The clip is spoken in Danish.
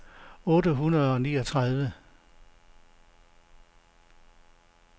otte hundrede og niogtredive